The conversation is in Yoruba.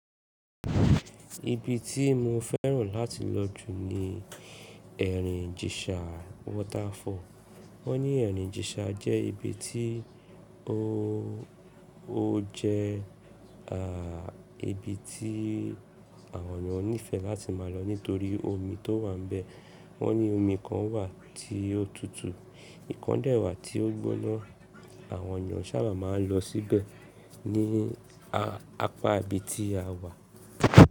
Ibi tí mo fẹ́ràn láti lọ jù ní ẹ̀rìn ìjìṣà Waterfall. Wọ́n ní ẹ̀rìn ìjìṣà jẹ́ ibi tí, ó jẹ́ ibi tí àwọn ènìyàn nífẹ̀ẹ́ láti máa lọ nítorí omi tó wà níbẹ̀. Wọ́n ní omi kan wà tí ó tutù, ìkan dẹ̀ wà tí ó gbóná. Àwọn ènìyàn sábà máa ń lọ síbẹ̀ ní a àpá ibi tí a wà.